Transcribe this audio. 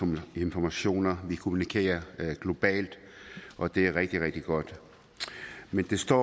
mange informationer vi kommunikerer globalt og det er rigtig rigtig godt men det står